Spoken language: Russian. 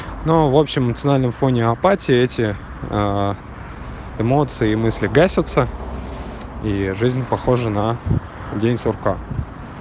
ну в общем национальным фоне апатия эти эмоции и мысли гасятся и жизнь похожа на день сурка